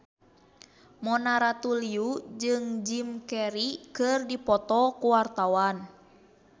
Mona Ratuliu jeung Jim Carey keur dipoto ku wartawan